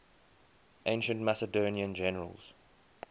ancient macedonian generals